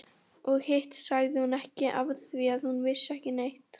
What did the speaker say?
Og hitt sagði hún ekki afþvíað hún vissi ekki neitt.